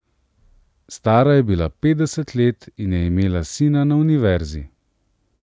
Stara je bila petdeset let in je imela sina na univerzi.